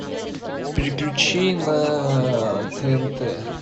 переключи на тнт